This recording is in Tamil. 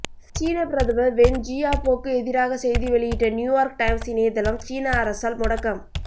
சீன பிரதமர் வென் ஜியாபோக்கு எதிராக செய்தி வெளியிட்ட நியூயார்க் டைம்ஸ் இணையதளம் சீன அரசால் முடக்கம்